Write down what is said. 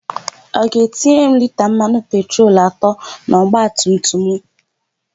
Ọ ga-etinyere m lita mmanụ petrol atọ n'ọgbatumtum mụ?